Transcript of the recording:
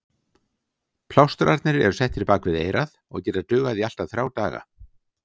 Plástrarnir eru settir bak við eyrað og geta dugað í allt að þrjá daga.